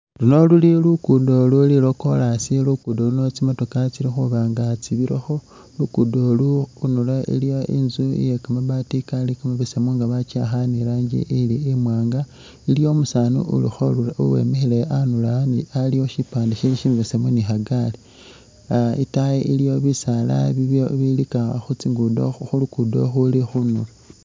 Luno luli luguddo lwa'chorus luguddo luuno tsi'motoka tsili khubanga tsibirakho luguddo olu khunulo iliwo inzu iye kamabaati Kali kamabesemu nga bakyiakha iranji ili imwanga iliwo umusaani uli khubi uwemikhile anulo aliwo shipande shibesemu ni khagaali aah itaayi iliyo bisaala bili bilika khutsinguddo khulugudo khuli khu...